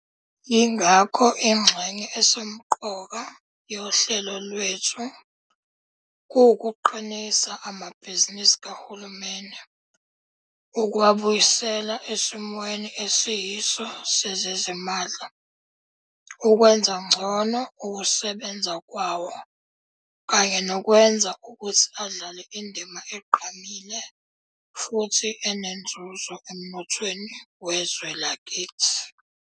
Yingakho ingxenye esemqoka yohlelo lwethu kuwukuqinisa amabhizinisi kahulumeni, ukuwabuyisela esimweni esiyiso sezezimali, ukwenza ngcono ukusebenza kwawo kanye nokwenza ukuthi adlale indima egqamile futhi enenzuzo emnothweni wezwe lakithi.